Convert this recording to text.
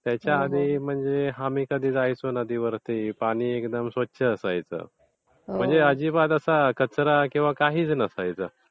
त्याच्या आधी कधी म्हणजे आम्ही जायचो नदीवरती, पाणी अगदी स्वच्छ असायचं. म्हणजे अजिबात असं कचरा वगैरे काहीच नसायचं.